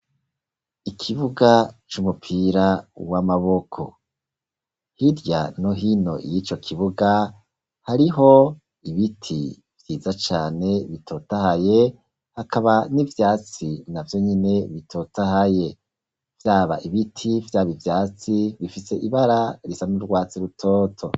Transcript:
Ikibuga c'umupira w'amaboko; hirya no hino iy'ico kibuga, hariho ibiti vyiza cane, bitotahaye, hakaba n'ivyatsi na vyo nyene bitotahaye; vyaba ibiti, vyaba ivyatsi, bifise ibara risa n'urwatsi rutoto.